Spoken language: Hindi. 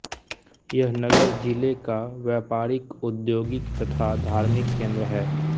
यह नगर जिले का व्यापारिक औद्योगिक तथा धार्मिक केंद्र है